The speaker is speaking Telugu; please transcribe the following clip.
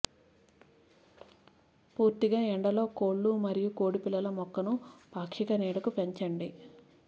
పూర్తిగా ఎండలో కోళ్ళు మరియు కోడిపిల్లల మొక్కను పాక్షిక నీడకు పెంచండి